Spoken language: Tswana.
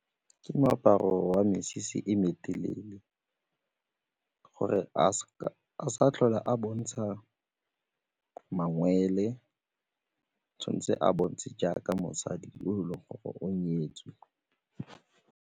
Ke moaparo wa mesese e me telele gore a sa tlhole a bontsha mangwele, tshwanetse a botse jaaka mosadi o e leng gore o nyetswe.